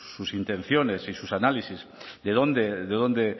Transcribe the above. sus intenciones y sus análisis de dónde de dónde